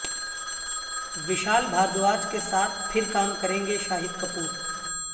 وشال بھاردواج کے ساتھ پھر کام کریں گے شاہد کپور